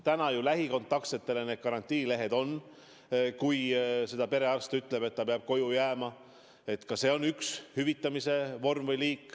Täna on üks hüvitamise vorm või liik lähikontaktsetele antavad karantiinilehed, kui perearst ütleb, et keegi peab koju jääma.